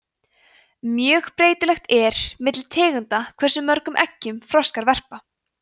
mjög breytilegt er milli tegunda hversu mörgum eggjum froskar verpa